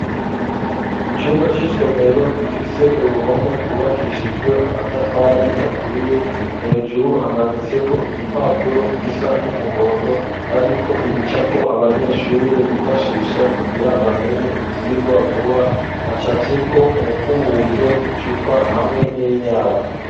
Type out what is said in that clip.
Icumba c'isomero gifise uruhome rwubakishijwe amatafari aturiye hejuru hamanitseko igipapuro gisa n'umuhondo hariko ibicapo abanyeshuri bifashisha kugira bamenye ivyigwa vuba hacafyeko umukubuzo icupa hamwe n'inyabu.